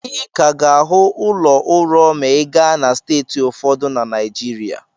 Ị ka ga-ahụ ụlọ ụrọ ma ị gaa na steeti ụfọdụ na Naịjirịa.